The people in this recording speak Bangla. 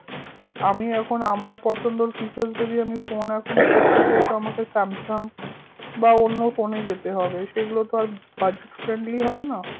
আমি এখন আমার পছন্দর features যদি আমি phone এখন করতে চাই তো আমাকে স্যামসাঙ বা অন্য phone এ যেতে হবে সেগুলো তো আর budget friendly হয়না